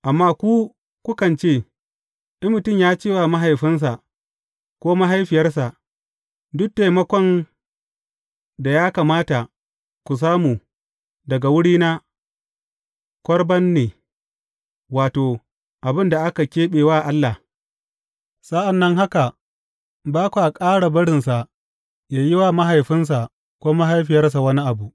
Amma ku, kukan ce, in mutum ya ce wa mahaifinsa, ko mahaifiyarsa, Duk taimakon da ya kamata ku samu daga wurina, Korban ne,’ wato, abin da aka keɓe wa Allah, sa’an nan haka ba kwa ƙara barinsa yă yi wa mahaifinsa ko mahaifiyarsa wani abu.